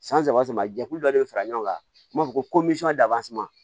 San saba caman jɛkulu dɔ de bɛ fara ɲɔgɔn kan n b'a fɔ ko